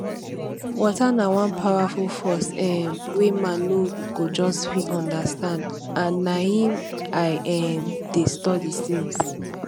water na one powerful force um wey man no go just fit understand and na im i um dey study since